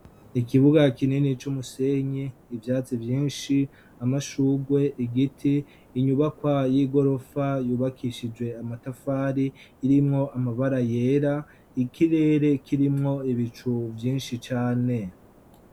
ikibuga kinini c'umusenyi, ivyatsi vyinshi amashurwe, igiti, inyubakwa y'igorofa yubakishije amatafari irimwo amabara yera, ikirere kirimwo ibicu vyinshi cane.